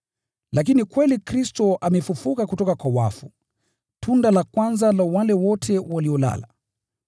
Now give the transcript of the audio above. Lakini kweli Kristo amefufuliwa kutoka kwa wafu, tunda la kwanza la wale wote waliolala.